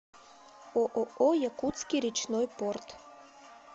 ооо якутский речной порт